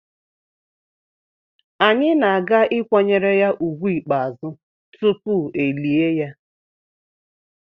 Anyị na-aga ịkwanyere ya úgwù ikpeazụ tupu elie ya.